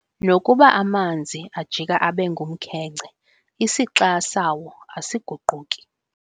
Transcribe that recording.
Nokuba amanzi ajika abe ngumkhenkce, isixa sawo asiguquki.